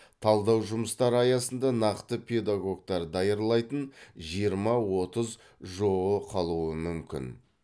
талдау жұмыстары аясында нақты педагогтар даярлайтын жиырма отыз жоо қалуы мүмкін